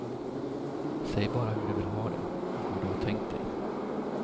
Säg bara hur du vill ha det, hur du har tänkt dig.